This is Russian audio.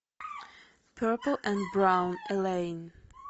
перпл энд браун элейн